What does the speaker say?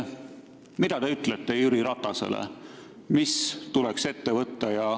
Mida te siis talle ütlete?